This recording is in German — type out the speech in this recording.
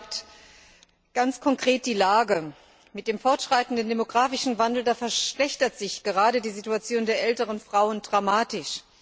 Er beschreibt ganz konkret die Lage Mit dem fortschreitenden demografischen Wandel verschlechtert sich gerade die Situation der älteren Frauen dramatisch.